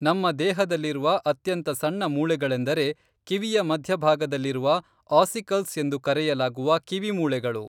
ನಮ್ಮ ದೇಹದಲ್ಲಿರುವ ಅತ್ಯಂತ ಸಣ್ಣ ಮೂಳೆಗಳೆಂದರೆ ಕಿವಿಯ ಮಧ್ಯ ಭಾಗದಲ್ಲಿರುವ ಆಸಿಕಲ್ಸ್ ಎಂದು ಕರೆಯಲಾಗುವ ಕಿವಿ ಮೂಳೆಗಳು